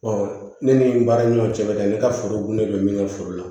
ne ni n baaraɲɔgɔn cɛ bɛ taa ne ka foro de bɛ min kɛ furu la